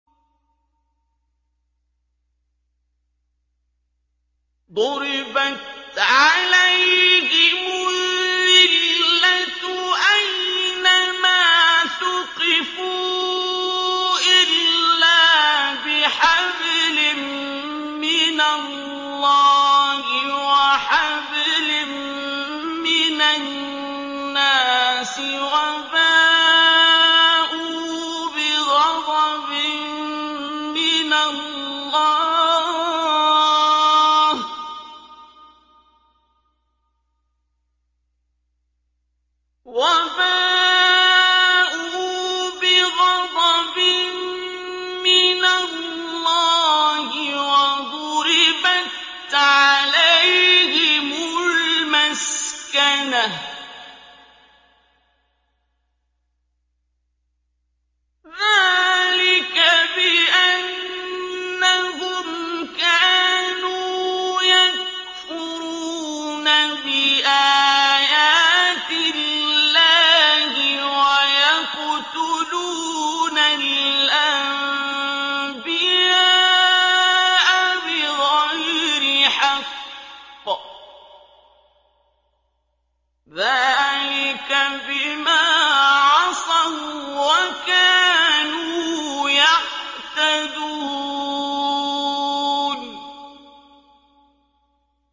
ضُرِبَتْ عَلَيْهِمُ الذِّلَّةُ أَيْنَ مَا ثُقِفُوا إِلَّا بِحَبْلٍ مِّنَ اللَّهِ وَحَبْلٍ مِّنَ النَّاسِ وَبَاءُوا بِغَضَبٍ مِّنَ اللَّهِ وَضُرِبَتْ عَلَيْهِمُ الْمَسْكَنَةُ ۚ ذَٰلِكَ بِأَنَّهُمْ كَانُوا يَكْفُرُونَ بِآيَاتِ اللَّهِ وَيَقْتُلُونَ الْأَنبِيَاءَ بِغَيْرِ حَقٍّ ۚ ذَٰلِكَ بِمَا عَصَوا وَّكَانُوا يَعْتَدُونَ